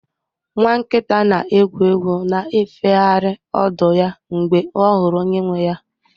Nwa nkita na-egwu egwu na-efegharị ọdụ ya mgbe ọ hụrụ onye nwe ya